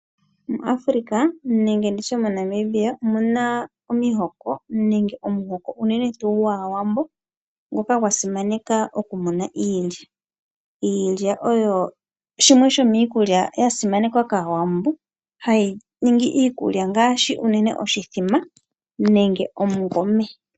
MuAfrika nenge moNamibia omu na omihoko unene tuu omuhoko gwAawambo ngoka gwa simaneka okumuna iilya. Iilya oyo shimwe sho miikulya ya simanekwa kAawambo hayi ningi iikulya ngaashi oshithima nomungome.